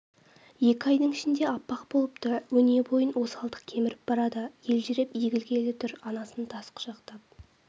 екі айдың ішінде аппақ болыпты өне бойын осалдық кеміріп барады елжіреп егілгелі тұр анасын тас құшақтап